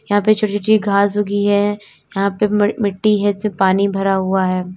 यहां पे छोटी छोटी घास उगी है यहां पे मिट्टी है इसमें पानी भरा हुआ है।